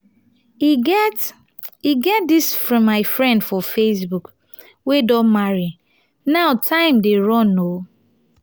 e get e get dis my friend for facebook wey don marry now time dey run oo